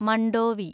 Mandovi